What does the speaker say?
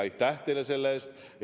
Aitäh teile selle eest!